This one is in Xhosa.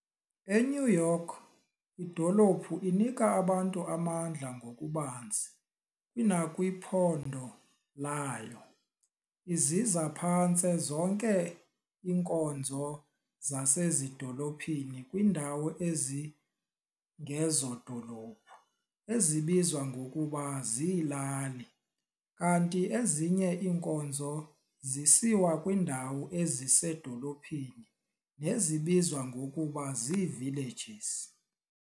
E-New York, idolophu inika abantu amandla ngokubanzi kunakwiphondo layo, iziza phantse zonke inkonzo zasezidolophini kwindawo ezingezodolophu, ezibizwa ngokuba ziilali, kanti ezinye iinkonzo zisiwa kwiindawo ezisedolophini, nezibizwa ngokuba zii"villages".